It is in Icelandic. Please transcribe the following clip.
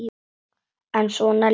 En svona líður tíminn.